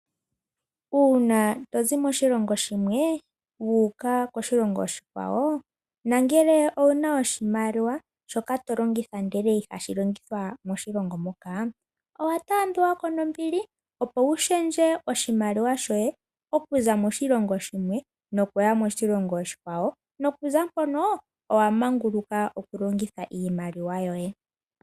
Uuna tozi moshilongo shimwe wuuka koshilongo oshikwawo nangele owuna oshimaliwa shoka tolongitha ndele ihashi longithwa moshilongo moka, owatambiwako nombili opo wulundulule oshimaliwa shoye okuza moshilongo shimwe nokuya moshilongo oshikwawo nokuza mpono owamanguluka okulongitha iimaliwa yoye.